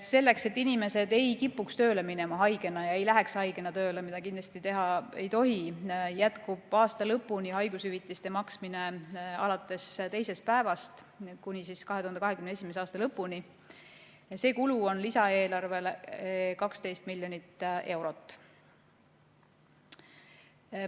Selleks, et inimesed ei kipuks haigena tööle minema ja ka ei läheks haigena tööle – seda kindlasti teha ei tohi –, jätkub selle aasta lõpuni haigushüvitise maksmine alates teisest päevast ja see kulu on lisaeelarves 12 miljonit eurot.